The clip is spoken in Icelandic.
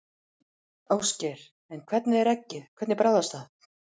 Ásgeir: En hvernig er eggið, hvernig bragðast það?